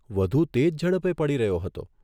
વધુ તેજ ઝડપે પડી રહ્યો હતો.